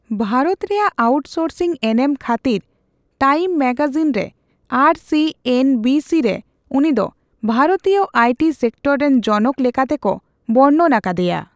ᱵᱷᱟᱨᱚᱛ ᱨᱮᱭᱟᱜ ᱟᱣᱩᱴᱥᱳᱨᱥᱤᱝ ᱮᱱᱮᱢ ᱠᱷᱟᱹᱛᱤᱨ ᱴᱟᱭᱤᱢ ᱢᱮᱜᱟᱡᱤᱱ ᱨᱮ ᱟᱨ ᱥᱤ ᱮᱱ ᱵᱤ ᱥᱤ ᱨᱮ ᱩᱱᱤᱫᱚ 'ᱵᱷᱟᱨᱚᱛᱤᱭᱚ ᱟᱭᱴᱤ ᱥᱮᱠᱴᱚᱨ ᱨᱮᱱ ᱡᱚᱱᱚᱠ ' ᱞᱮᱠᱟᱛᱮᱠᱚ ᱵᱚᱨᱱᱚᱱ ᱟᱠᱟᱫᱮᱭᱟ ᱾